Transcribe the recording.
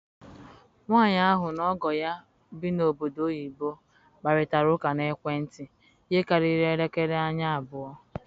Nwanyị ahụ na ọgọ ya bi na obodo oyibo kparịtara ụka n'ekwentị ihe karịrị elekere anya abụọ